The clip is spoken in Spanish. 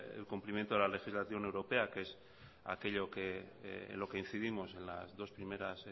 el cumplimiento de la legislación europea que es aquello que en lo que incidimos en los dos primeras